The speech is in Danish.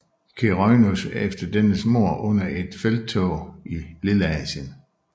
Keraunos efter dennes mord under et felttog i Lilleasien